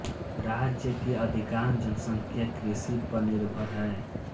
राज्य कि अधिकांश जनसंख्या कृषि पर निर्भर है